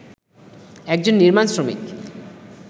একজন নির্মাণ শ্রমিক